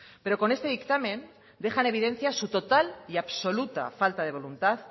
pero con este dictamen deja en evidencia su total y absoluta falta de voluntad